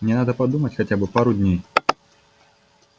мне надо подумать хотя бы пару дней